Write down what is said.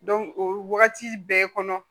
o wagati bɛɛ kɔnɔ